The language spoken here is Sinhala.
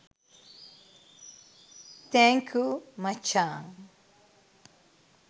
තෑන්කූ මචාං